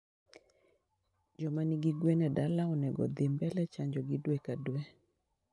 jomanigi gwen e dala onego odhii mbele chanjogi dwe ka dwe